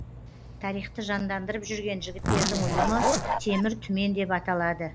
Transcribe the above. тарихты жандандырып жүрген жігіттердің ұйымы темір түмен деп аталады